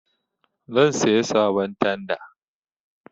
Zan saya sabon tanda